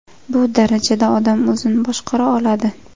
Bu darajada odam o‘zini boshqara oladi.